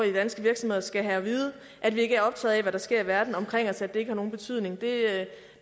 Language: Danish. i danske virksomheder skal have at vide at vi ikke er optaget af hvad der sker i verden omkring os og at det ikke har nogen betydning det